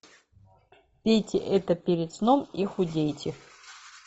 пейте это перед сном и худейте